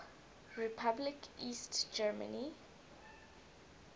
republic east germany